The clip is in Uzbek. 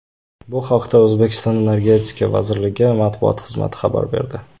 Bu haqda O‘zbekiston Energetika vazirligi matbuot xizmati xabar berdi.